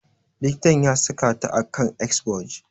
Likitan ya saka ta a kan exforge.